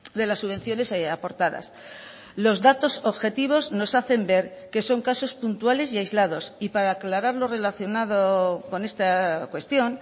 de las subvenciones aportadas los datos objetivos nos hacen ver que son casos puntuales y aislados y para aclarar lo relacionado con esta cuestión